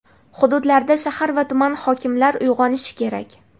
Hududlarda shahar va tuman hokimlar uyg‘onishi kerak.